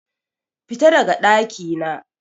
Fita daga ɗakina!